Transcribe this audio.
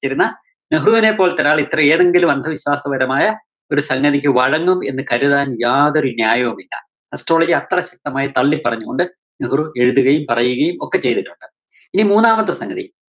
സിച്ചിരുന്ന നെഹ്രുവിനെ പോലത്തൊരാള് ഇത്ര ഏതെങ്കിലും അന്ധവിശ്വാസപരമായ ഒരു സംഗതിക്ക് വഴങ്ങും എന്ന് കരുതാന്‍ യാതൊരു ന്യായവുമില്ല. astrology അത്ര ശക്തമായി തള്ളി പറഞ്ഞുകൊണ്ട് നെഹ്രു എഴുതുകയും പറയുകയും ഒക്കെ ചെയ്തിട്ടുണ്ട്. ഇനി മൂന്നാമത്തെ സംഗതി.